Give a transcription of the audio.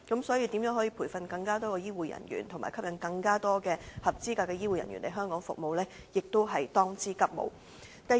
所以，培訓更多的醫護人員和吸引更多合資格的醫護人員來港服務，亦是當務之急。